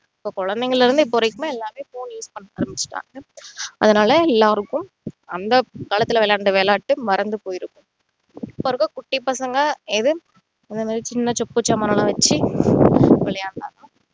இப்போ குழைந்தைங்கள்ல இருந்து இப்போ வரைக்குமே எல்லாருமே phone use பண்ண ஆரம்பிச்சுட்டாங்க அதனால எல்லாருக்கும் அந்த கலாத்துல விளையாண்ட விளையாட்டு மறந்து போய் இருக்கும் இப்போ இருக்க குட்டி பசங்க ஏதும் இந்த மாதிரி சின்ன சொப்பு சாமானெல்லாம் வச்சி விளையாடுறாங்க